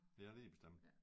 Ja lige bestemt